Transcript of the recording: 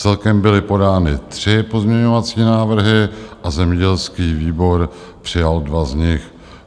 Celkem byly podány tři pozměňovací návrhy a zemědělský výbor přijal dva z nich.